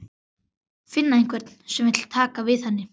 Finna einhvern sem vill taka við henni.